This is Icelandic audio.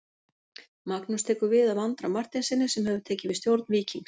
Magnús tekur við af Andra Marteinssyni sem hefur tekið við stjórn Víkings.